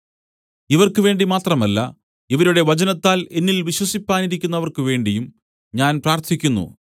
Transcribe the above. ഇവർക്ക് വേണ്ടി മാത്രമല്ല ഇവരുടെ വചനത്താൽ എന്നിൽ വിശ്വസിപ്പാനിരിക്കുന്നവർക്കു വേണ്ടിയും ഞാൻ പ്രാർത്ഥിക്കുന്നു